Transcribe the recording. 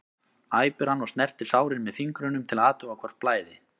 æpir hann og snertir sárin með fingrunum til að athuga hvort blæði.